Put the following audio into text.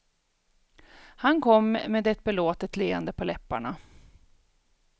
Han kom med ett belåtet leende på läpparna.